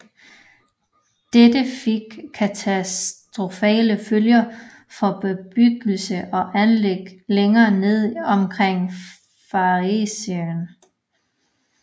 Dette fik katastrofale følger for bebyggelser og anlæg længere nede omkring Farrisåen